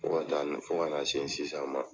Fo ka ta n na, fo ka na se sisan ma